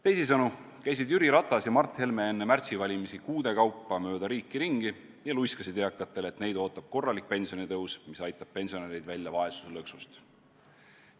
Teisisõnu käisid Jüri Ratas ja Mart Helme enne märtsivalimisi kuude kaupa mööda riiki ringi ja luiskasid eakatele, et neid ootab korralik pensionitõus, mis aitab pensionärid välja vaesuse lõksust.